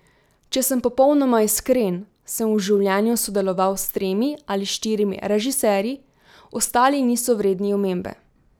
Če sem popolnoma iskren, sem v življenju sodeloval s tremi ali štirimi režiserji, ostali niso vredni omembe.